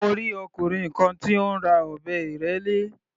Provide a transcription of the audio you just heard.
Mo rí ọkùnrin kan tí ó ń ra ọ̀bẹ ìrẹ́lé.